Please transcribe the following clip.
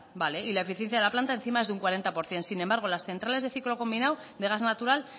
vale y la eficiencia de la planta encima es de un cuarenta por ciento sin embargo las centrales de ciclo combinado de gas natural